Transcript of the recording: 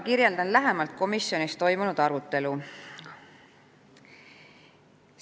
Kirjeldan lähemalt komisjonis toimunud arutelu.